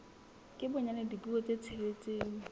ka bonyane dipuo tse tsheletseng